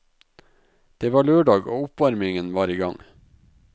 Det var lørdag og oppvarmingen var igang.